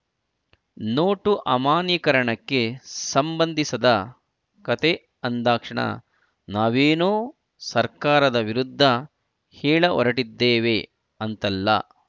note ಅಮಾನ್ಯೀಕರಣಕ್ಕೆ ಸಂಬಂಧಿಸದ ಕತೆ ಅಂದಾಕ್ಷಣ ನಾವೇನೋ ಸರ್ಕಾರದ ವಿರುದ್ಧ ಹೇಳ ಹೊರಟಿದ್ದೇವೆ ಅಂತಲ್ಲ